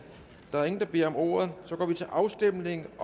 der er ingen der beder om ordet så går vi til afstemning